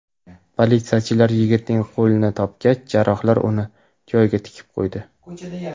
Politsiyachilar yigitning qo‘lini topgach, jarrohlar uni joyiga tikib qo‘ydi.